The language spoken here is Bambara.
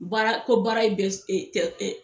Baara ko baara bɛ s e tɛ ɛ